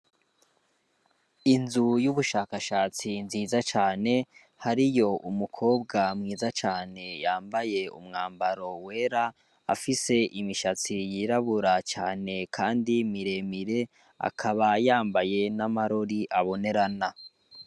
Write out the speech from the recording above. Inzu y'ubushakashatsi nziza cane hari yo umukobwa mwiza cane yambaye umwambaro wera afise imishatsi yirabura cane, kandi miremire akaba yambaye n'amarori abonerana.